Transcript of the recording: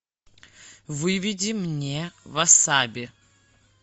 выведи мне васаби